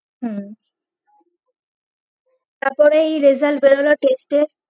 হম তারপরেই result বেরোলো test এর